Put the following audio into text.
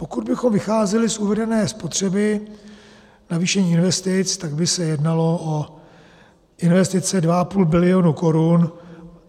Pokud bychom vycházeli z uvedené spotřeby navýšení investic, tak by se jednalo o investice 2,5 bilionu korun.